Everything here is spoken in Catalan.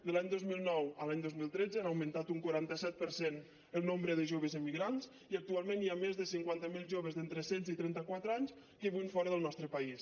de l’any dos mil nou a l’any dos mil tretze han augmentat un quaranta set per cent el nombre de joves emigrants i actualment hi ha més de cinquanta mil joves d’entre setze i trenta quatre anys que viuen fora del nostre país